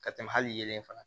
Ka tɛmɛ hali yelen fa